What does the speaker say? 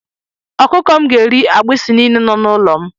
Ọkụkọ m ga-eri agbisi niile nọ n'ụlọ m.